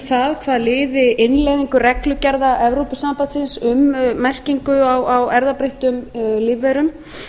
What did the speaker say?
um hvað liði innleiðingu reglugerða evrópusambandsins um merkingu á erfðabreyttum lífverum